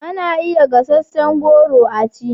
Ana iya gasasshen goro a ci